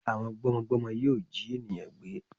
Àwọn gbọ́mọgbọ́mọ yóò jí ènìyàn gbé